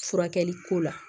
Furakɛli ko la